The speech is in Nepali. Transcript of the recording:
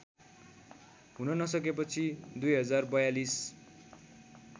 हुन नसकेपछि २०४२